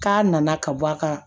K'a nana ka bɔ a kan